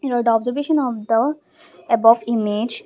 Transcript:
third observation of the above image.